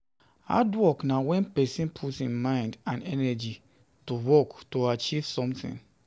Hard work na when persin Put im mind and energy to work to achieve something